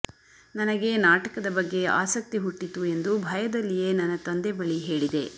ನನಗೆ ನಾಟಕದ ಬಗ್ಗೆ ಆಸಕ್ತಿ ಹುಟ್ಟಿತು ಎಂದು ಭಯದಲ್ಲಿಯೇ ನನ್ನ ತಂದೆ ಬಳಿ ಹೇಳಿದೆ